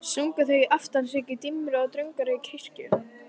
Sungu þeir aftansöng í dimmri og drungalegri kirkjunni.